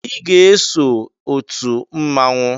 I ga-eso otu mmanwụ